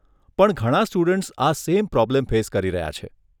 પણ ઘણા સ્ટુડન્ટ્સ આ સેમ પ્રોબ્લેમ ફેસ કરી રહ્યા છે.